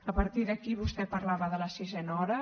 a partir d’aquí vostè parlava de la sisena hora